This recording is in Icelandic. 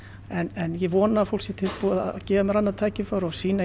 en ég vona að fólk sé tilbúið að gefa mér annað tækifæri og sýna í